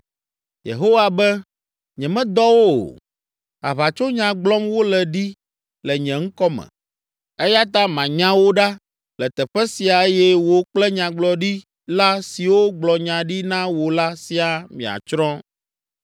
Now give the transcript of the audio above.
Yehowa be, ‘Nyemedɔ wo o. Aʋatsonya gblɔm wole ɖi le nye ŋkɔ me. Eya ta manya wò ɖa le teƒe sia eye wò kple Nyagblɔɖila siwo gblɔ nya ɖi na wò la siaa miatsrɔ̃.’ ”